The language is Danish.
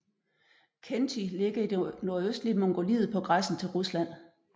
Khentij ligger i det nordøstlige Mongoliet på grænsen til Rusland